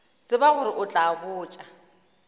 tsebe gore o tla botša